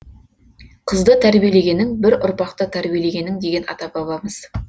қызды тәрбиелегенің бір ұрпақты тәрбиелегенің деген ата бабамыз